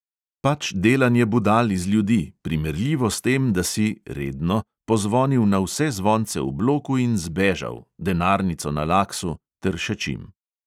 Pač delanje budal iz ljudi, primerljivo s tem, da si pozvonil na vse zvonce v bloku in zbežal, denarnico na laksu ter še čim.